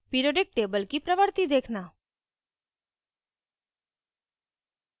periodic table की प्रवर्ति देखना